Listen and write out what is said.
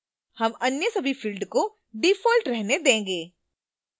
हम अन्य सभी फिल्ड को default रहने देंगे